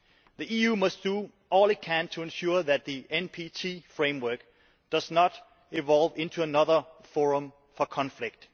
The EU must do all it can to ensure that the NPT framework does not evolve into another forum for conflict.